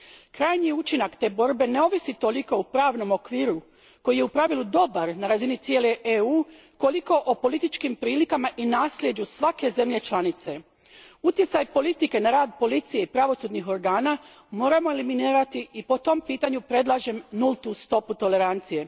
Krajnji učinak te borbe ne ovisi toliko o pravnom okviru, koji je u pravilu dobar na razini cijele EU, koliko o političkim prilikama i naslijeđu svake zemlje članice. Utjecaj politike na rad policije i pravosudnih organa moramo eliminirati i po tom pitanju predlažem nultu stopu tolerancije.